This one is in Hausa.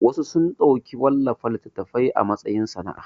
Wasu sun ɗauki wallafa littatafai a matsayin sana'a